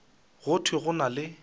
go thwe go na le